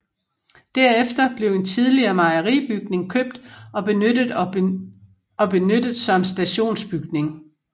Derefter blev en tidligere mejeribygning købt og benyttet og benyttet som stationsbygning